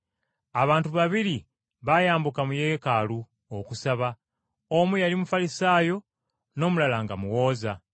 “Abantu babiri baayambuka mu Yeekaalu okusaba, omu yali Mufalisaayo n’omulala nga muwooza.